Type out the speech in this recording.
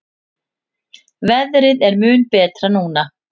Veðrið er mun betra núna.